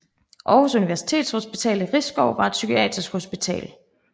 Aarhus Universitetshospital i Risskov var et psykiatrisk hospital